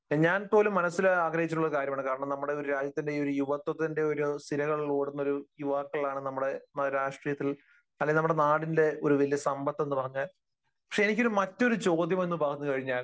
ഞാൻ പോലും മനസ്സിൽ ആഗ്രഹിച്ചിട്ടുള്ള ഒരു കാര്യമാണ്. കാരണം നമ്മുടെ ഒരു രാജ്യത്തിന്റെ ഈ യുവത്വത്തിന്റെ സിരകളിലോടുന്നൊരു യുവാക്കളാണ് നമ്മുടെ രാഷ്ട്രീയത്തിൽ അല്ലെങ്കിൽ നമ്മുടെ നാടിന്റെ ഒരു വലിയ സമ്പത്ത് എന്ന് പറഞ്ഞാൽ. പക്ഷെ എനിക്ക് മറ്റൊരു ചോദ്യം എന്ന് പറഞ്ഞുകഴിഞ്ഞാൽ